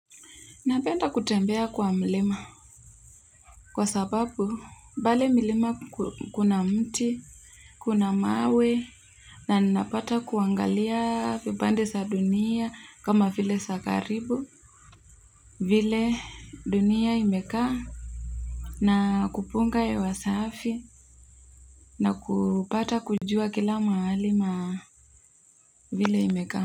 Napenda kutembea kwa mlima. Kwa sababu pale mlima kuna mti kuna mawe na napata kuangalia vipande za dunia kama vile za katibu vile dunia imekaa na kupunga hewa safi na kupata kujua kila mahali na vile imekaa.